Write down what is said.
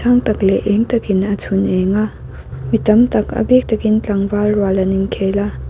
sang tak leh eng takin a chhun eng a mi tam tak a bik takin tlangval rual an inkhel a.